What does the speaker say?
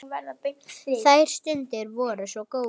Þær stundir voru svo góðar.